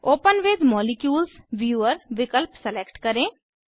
open with molecules viewer विकल्प select करें